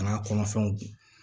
A n'a kɔnɔfɛnw dun